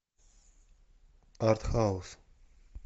артхаус